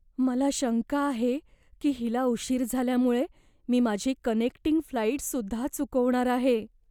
मला शंका आहे की हिला उशीर झाल्यामुळे मी माझी कनेक्टिंग फ्लाइटसुद्धा चुकवणार आहे.